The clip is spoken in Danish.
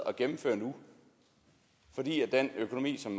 at gennemføre nu fordi den økonomi som